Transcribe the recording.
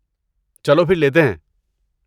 چلو پھر لیتے ہیں۔